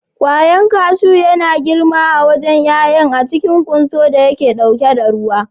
Ƙwallon kashu yana girma a wajen ƴaƴan a cikin ƙwanso da yake ɗauke da ruwa.